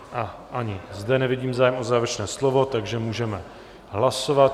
A ani zde nevidím zájem o závěrečné slovo, takže můžeme hlasovat.